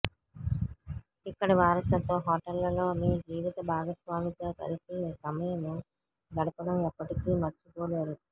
ఇక్కడి వారసత్వ హోటళ్లలో మీ జీవిత భాగస్వామితో కలిసి సమయం గడపడం ఎప్పటికీ మర్చిపోలేరు